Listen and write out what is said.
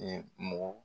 mɔgɔ